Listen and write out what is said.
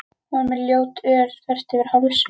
Hún var með ljótt ör þvert yfir hálsinn.